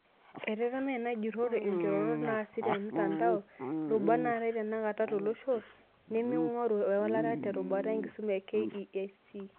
Etetema ena jurrore inkirorot naasi te mtandao, irubat naatae tenakata tolosho, neming'oru ewalata terubata enkisuma e KEC.